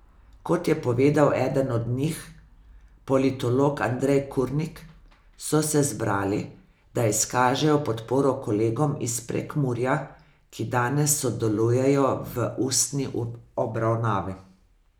Kot je povedal eden od njih, politolog Andrej Kurnik, so se zbrali, da izkažejo podporo kolegom iz Prekmurja, ki danes sodelujejo v ustni obravnavi.